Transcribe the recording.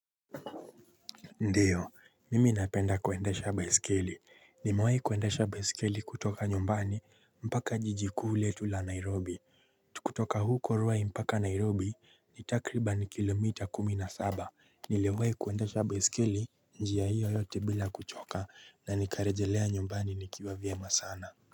Ndiyo mimi napenda kuendesha baiskeli nimewai kuendesha baiskeli kutoka nyumbani mpaka jiji kuu letu la nairobi kutoka huko ruai mpaka nairobi ni takribani kilomita kumi na saba niliwahi kuendesha baiskeli njia hiyo yote bila kuchoka na nikarejelea nyumbani nikiwa vyema sana.